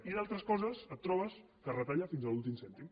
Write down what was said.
i en altres coses et trobes que es retalla fins a l’últim cèntim